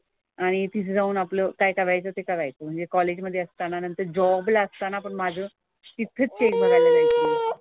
आणि तिथं जाऊन आपलं काय करायचं ते करायचं. म्हणजे कॉलेज मधे असताना नंतर जॉब ला असताना पण माझं तिथेच चेक भरायला जायचे मी.